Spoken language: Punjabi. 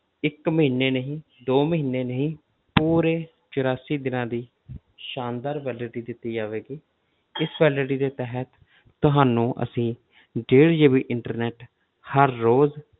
ਇੱਕ ਮਹੀਨੇ ਨਹੀਂ ਦੋ ਮਹੀਨੇ ਨਹੀਂ ਪੂਰੇ ਚੁਰਾਸੀ ਦਿਨਾਂ ਦੀ ਸ਼ਾਨਦਾਰ validity ਦਿੱਤੀ ਜਾਵੇਗੀ ਇਸ validity ਦੇ ਤਹਿਤ ਤੁਹਾਨੂੰ ਅਸੀਂ ਡੇਢ GB internet ਹਰ ਰੋਜ਼